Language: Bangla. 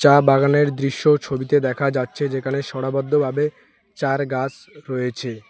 চা বাগানের দৃশ্য ছবিতে দেখা যাচ্ছে যেখানে সরাবধ্য ভাবে চা'র গাছ রয়েছে।